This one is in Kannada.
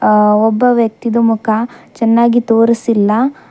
ಅ ಒಬ್ಬ ವ್ಯಕ್ತಿದು ಮುಖ ಚೆನ್ನಾಗಿ ತೋರಿಸಿಲ್ಲ--